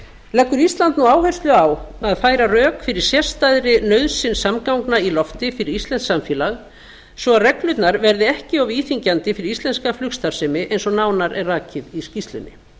leggur ísland nú áherslu á að færa rök fyrir sérstakri nauðsyn samgangna í lofti fyrir íslenskt samfélag svo reglurnar verði ekki of íþyngjandi fyrir íslenska flugstarfsemi eins og nánar er rakið í skýrslunni